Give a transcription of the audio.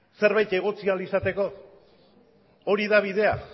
zerbait egotzi ahal izateko hori da bidea